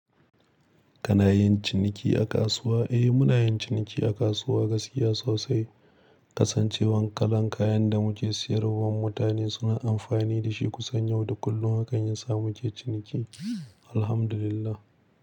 Kanayin ciniki a kasuwa, eh muna yin ciniki a kasuwa gaskiya sosai. Kasancewan kalan kayan da muke siyarwa mutane suna amfani da shi kusan yau da kullun hakan yasa muke ciniki. Alhamdulillah.